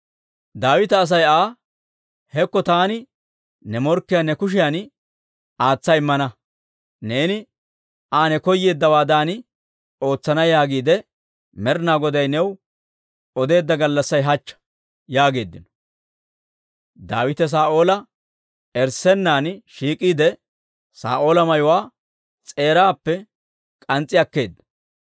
Daawita Asay Aa, «Hekko taani ne morkkiyaa ne kushiyan aatsa immana; neeni Aa ne koyeeddawaadan ootsana yaagiide Med'inaa Goday new odeedda gallassay hachcha» yaageeddino. Daawite Saa'oola erissennan shiik'iide, Saa'oola mayuwaa s'eeraappe k'ans's'i akkeedda.